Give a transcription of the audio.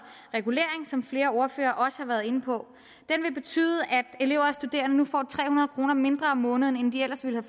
regulering som flere ordførere også har været inde på det vil betyde at elever og studerende får tre hundrede kroner mindre om måneden end de ellers ville